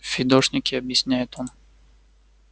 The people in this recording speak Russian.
фидошники объясняет он